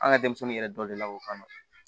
An ka denmisɛnnin yɛrɛ dɔ de la k'o kanu